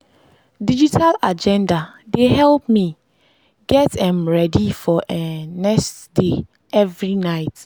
digital agenda dey help me get um ready for um next day every night.